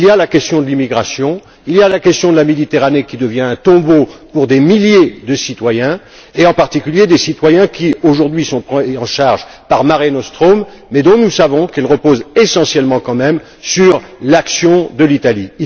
Il y a la question de l'immigration, il y a la question de la Méditerranée qui devient un tombeau pour des milliers de citoyens et en particulier des citoyens qui aujourd'hui sont pris en charge par Mare Nostrum mais dont nous savons qu'ils reposent essentiellement quand même sur l'action de l'Italie.